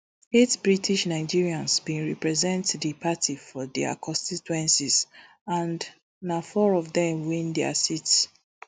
eight britishnigerians bin represent di party for dia constituencies and na four of dem win dia seats